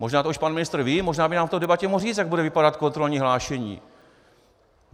Možná už to pan ministr ví, možná by nám to v debatě mohl říct, jak bude vypadat kontrolní hlášení.